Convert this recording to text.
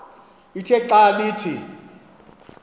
ithe xa ithi